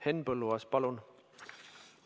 Henn Põlluaas, palun!